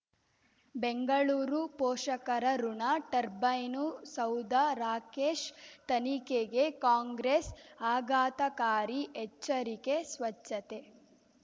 ಬೆಂಗಳೂರು ಪೋಷಕರಋಣ ಟರ್ಬೈನು ಸೌಧ ರಾಕೇಶ್ ತನಿಖೆಗೆ ಕಾಂಗ್ರೆಸ್ ಆಘಾತಕಾರಿ ಎಚ್ಚರಿಕೆ ಸ್ವಚ್ಛತೆ